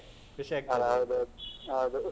. ಹೌದ್ ಹೌದು.